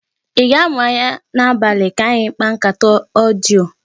I ga-amụ anya n'abalị ka anyị kpaa nkata odiyo?